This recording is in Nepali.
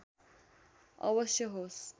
अवश्य होस्